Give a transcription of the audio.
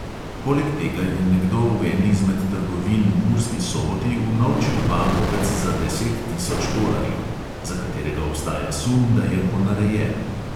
Poleg tega je nekdo v eni izmed trgovin v murski soboti unovčil bankovec za deset tisoč tolarjev, za katerega obstaja sum, da je ponarejen.